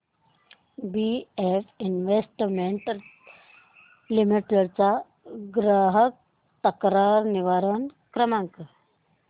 BF investment limited चा ग्राहक तक्रार निवारण क्रमांक